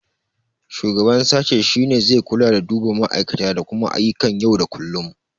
Shugaban sashe shine zai kula da duba ma'aikata da kuma ayyukan yau da kullum.